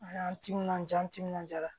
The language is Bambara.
An y'an timinanja an timinanja